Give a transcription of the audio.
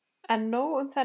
En nóg um þennan leik.